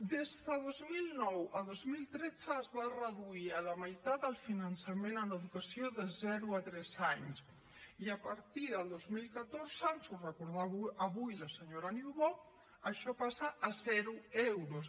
des de dos mil nou a dos mil tretze es va reduir a la meitat el finançament en educació de zero a tres anys i a partir del dos mil catorze ens ho recordava avui la senyora niubó això passa a zero euros